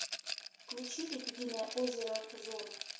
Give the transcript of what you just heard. включи лебединое озеро зона